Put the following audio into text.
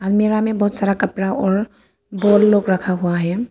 मेरा में बहोत सारा कपड़ा और बोल लोग रखा हुआ है।